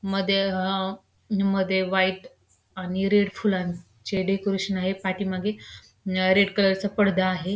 मध्ये अ अ मध्ये व्हाईट आणि रेड फुलांचे डेकोरेशन आहे पाठीमागे अ रेड कलरचा चा पडदा आहे.